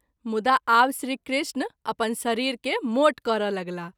मुदा आब श्री कृष्ण अपन शरीर के मोट करय लगलाह।